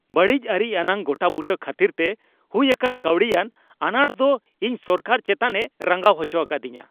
ᱵᱟᱹᱲᱤᱡ ᱟᱹᱨᱤ ᱟᱱᱟᱜ ᱜᱚᱴᱟᱵᱩᱴᱟᱹ ᱠᱷᱟᱹᱛᱤᱨ ᱛᱮ ᱦᱩᱭ ᱟᱠᱟᱱ ᱠᱟᱹᱣᱰᱤᱭᱟᱱ ᱟᱱᱟᱴ ᱫᱚ ᱤᱧ ᱥᱚᱨᱠᱟᱨ ᱪᱮᱛᱟᱱᱮ ᱨᱟᱸᱜᱟᱣ ᱦᱚᱪᱚ ᱟᱠᱟᱫᱤᱧᱟ ᱾